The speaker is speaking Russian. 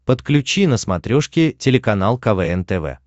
подключи на смотрешке телеканал квн тв